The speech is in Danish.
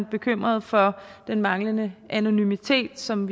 bekymret for den manglende anonymitet ligesom